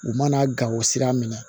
U mana gawo sira minɛ